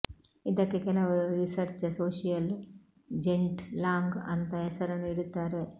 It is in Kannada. ಇದಕ್ಕೆ ಕೆಲವರು ರಿಸರ್ಚ ಸೋಶಿಯಲ್ ಜೆನ್ಟ್ ಲಾಂಗ್ ಅಂತ ಹೆಸರನ್ನು ಇಡುತ್ತಾರೆ